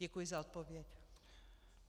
Děkuji za odpověď.